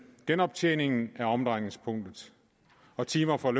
genoptjeningen er omdrejningspunktet og timer for